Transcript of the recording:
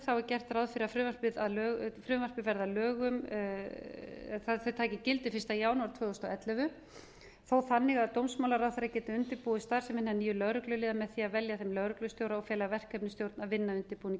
er gert ráð fyrir að frumvarpið taki gildi fyrsta janúar tvö þúsund og ellefu þó þannig að dómsmálaráðherra geti undirbúið starfsemina nýjum lögregluliðum með því að velja þeim lögreglustjóra og fela verkefnisstjórn að vinna að undirbúningi